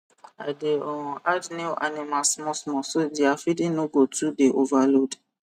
i dey um add new animal smallsmall so dia feeding no go too dey overload